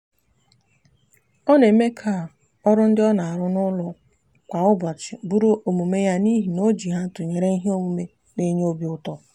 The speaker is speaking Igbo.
o n'eme ka oru ndi o n'aru n'ulo kwa ubochi buru omume ya nihi na o ji ha tunyere ihe omume n'enye obiuto